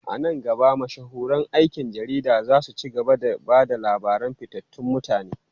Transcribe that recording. A nan gaba, mashahuran aikin jarida za su ci gaba da ba da labaran fitattun mutane.